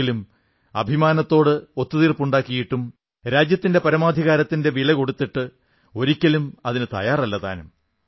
എങ്കിലും അഭിമാനത്തോട് ഒത്തുതീർപ്പുണ്ടാക്കിയിട്ടും രാജ്യത്തിന്റെ പരമാധികാരത്തിന്റെ വില കൊടുത്തിട്ട് ഒരിക്കലും അതിനു തയ്യാറല്ലതാനും